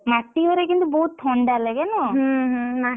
ମାଟି ଘରେ କିନ୍ତୁ ବହୁତ୍ ଥଣ୍ଡା ଲାଗେ ନା?